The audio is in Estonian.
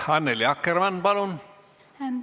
Annely Akkermann, palun!